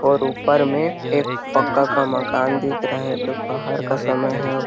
और ऊपर मे एक पक्का का मकान दिख रहा हैं दोपहर का समय हैं।